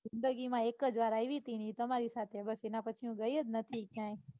જિંદગી માં એક જ વાર આવી હતી ને એ તમારી સાથે આવી હતી બસ એના પછી હું ક્યાંય ગઈ જ નથી.